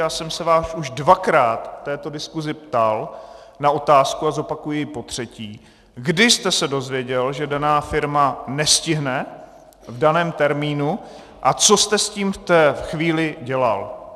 Já jsem se vás už dvakrát v této diskusi ptal na otázku, a zopakuji ji potřetí: Kdy jste se dozvěděl, že daná firma nestihne v daném termínu, a co jste s tím v té chvíli dělal?